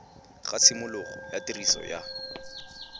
ga tshimologo ya tiriso ya